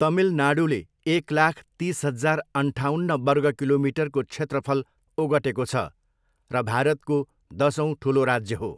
तमिलनाडु एक लाख तिस हजार अन्ठाउन्न वर्ग किलोमिटरको क्षेत्रफल ओगटेको छ र भारतको दसौँ ठुलो राज्य हो।